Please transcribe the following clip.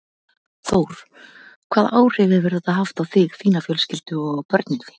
Þór: Hvaða áhrif hefur þetta haft á þig, þína fjölskyldu og á börnin þín?